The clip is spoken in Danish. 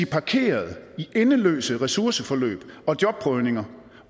parkeret i endeløse ressourceforløb og jobprøvninger